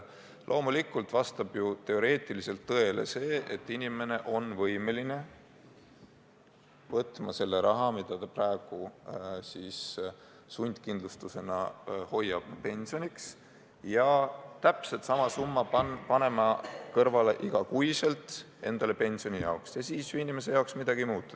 Loomulikult vastab teoreetiliselt tõele, et inimene on võimeline võtma selle raha, mida ta praegu sundkindlustusena pensioniks hoiab, ja panema täpselt sama summa igas kuus ise pensioni jaoks kõrvale – siis ju inimese jaoks midagi ei muutu.